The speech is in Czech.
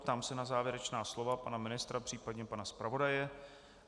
Ptám se na závěrečná slova pana ministra příp. pana zpravodaje.